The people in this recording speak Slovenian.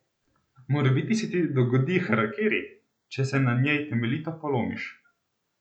Morebiti se ti dogodi harakiri, če se na njej temeljito polomiš!